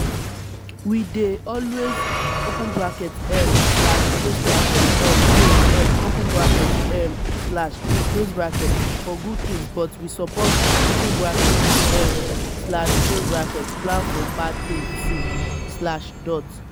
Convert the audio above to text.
we dey always um pray um for good tins but we suppose um plan for bad tins too.